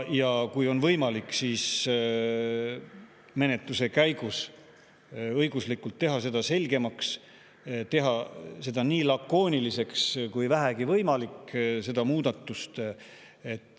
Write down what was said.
Ja kui on võimalik, siis menetluse käigus õiguslikult teha seda selgemaks, teha see muudatus nii lakooniliseks, kui vähegi võimalik.